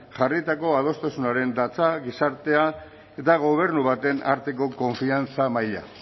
jarritako adostasunean datza gizartea eta gobernu baten arteko konfiantza maila